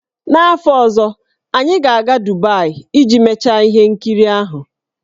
N'afọ ọzọ, anyị ga-aga Dubaị iji mechaa ihe nkiri ahụ.